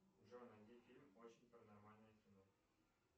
джой найди фильм очень паранормальное кино